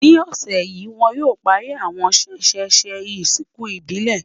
ní ọsẹ yi, wọn o pari àwọn sesese ìsìnkú ìbílè